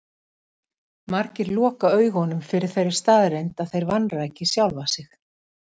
Margir loka augunum fyrir þeirri staðreynd að þeir vanræki sjálfa sig.